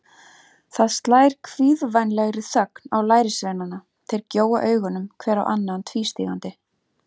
Það slær kvíðvænlegri þögn á lærisveinana, þeir gjóa augunum hver á annan tvístígandi.